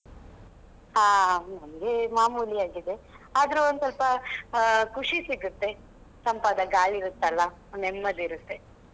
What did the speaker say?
ಹಾ ನಮಗೆ ಮಾಮೂಲಿ ಆಗಿದೆ ಆದ್ರೂ ಒಂದು ಸ್ವಲ್ಪ ಖುಷಿ ಸಿಗುತ್ತೆ ತಂಪಾದ ಗಾಳಿ ಇರುತ್ತಲ್ಲಾ ನೆಮ್ಮದಿ ಇರುತ್ತೆ.